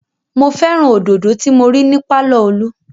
Mo fẹ́ràn òdodo tí mo rí ní pàlọ́ Olú